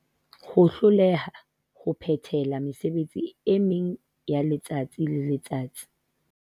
Ho hloleha ho phethela mesebetsi e meng yaletsatsi le letsatsi.